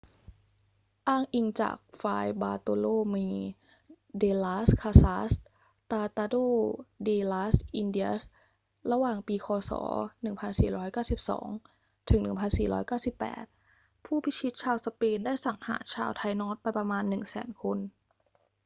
อ้างอิงจาก ฟราย บาร์โตโลเม เด ลาส คาซาส ตราตาโด เด ลาส อินเดียส ระหว่างปี ค.ศ. 1492 ถึง 1498 ผู้พิชิตชาวสเปนได้สังหารชาวไทนอสไปประมาณ 100,000 คน